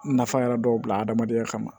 Nafa yɛrɛ dɔw bila adamadenya kama